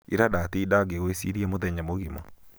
ira ndatinda ngĩgwĩ cĩrĩa mũthenya mũgima